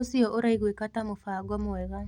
ũcio ũraiguĩka ta mũbango mwega